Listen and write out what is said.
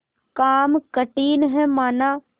काम कठिन हैमाना